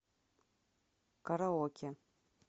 караоке